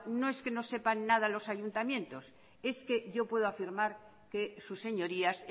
no es que no sepan nada los ayuntamientos es que yo puedo afirmar que sus señorías